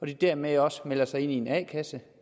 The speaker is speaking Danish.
de dermed også melder sig ind i en a kasse